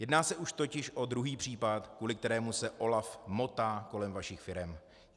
Jedná se už totiž o druhý případ, kvůli kterému se OLAF motá kolem vašich firem.